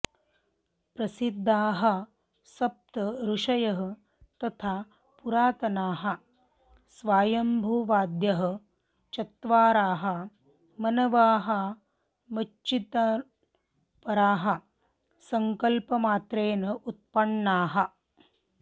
प्रसिद्धाः सप्त ऋषयः तथा पुरातनाः स्वायम्भुवादयः चत्वारः मनवः मच्चिन्तनपराः सङ्कल्पमात्रेण उत्पन्नाः